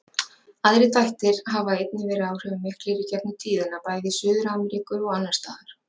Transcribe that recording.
Aðrir þættir hafa einnig verið áhrifamiklir í gegnum tíðina, bæði í Suður-Ameríku og annars staðar.